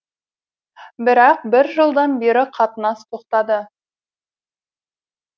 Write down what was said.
бірақ бір жылдан бері қатынас тоқтады